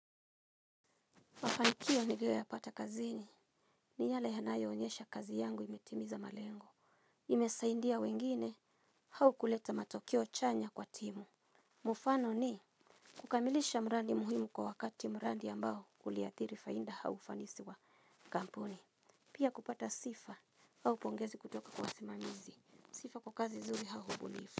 Mafanikio niliyo yapata kazini. Ni yale yanayo onyesha kazi yangu imetimiza malengo. Imesaidia wengine au kuleta matokeo chanya kwa timu. Mfano ni kukamilisha mradi muhimu kwa wakati mradi ambao uliathiri faida au ufanisi wa kampuni. Pia kupata sifa au pongezi kutoka kwa wasimamizi. Sifa kwa kazi nzuri au ubunifu.